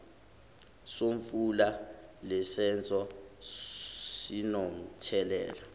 somfula lesisenzo sinomthelela